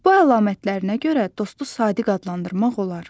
Bu əlamətlərinə görə dostu sadiq adlandırmaq olar.